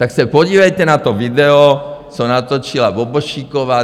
Tak se podívejte na to video, co natočila Bobošíková.